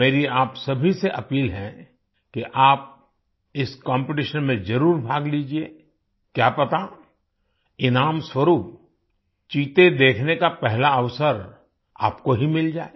मेरी आप सभी से अपील है कि आप इस कॉम्पिटिशन में जरुर भाग लीजिए क्या पता इनाम स्वरुप चीते देखने का पहला अवसर आपको ही मिल जाए